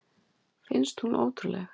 Finnst hún ótrúleg.